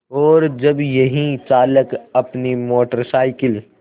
और जब यही चालक अपनी मोटर साइकिल